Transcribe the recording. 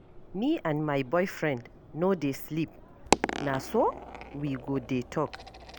Me and my boyfriend no dey sleep. Na so we go dey talk.